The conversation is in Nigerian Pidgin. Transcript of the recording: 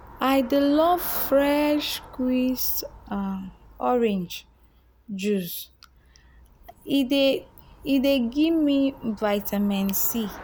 i dey love fresh squeezed um orange juice um e dey give um me vitamin c.